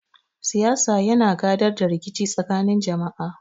Siyasa yana gadar da rikici tsakanin jama'a.